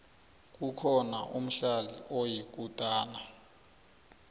kukhona umdlali oyikutana